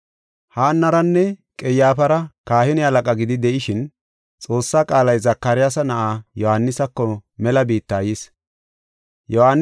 Haannaranne Qayyaafara kahine halaqa gidi de7ishin, Xoossaa qaalay Zakaryaasa na7aa Yohaanisako mela biitta yis. Kahine Halaqa